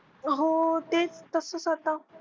हो तेच तसंच आता.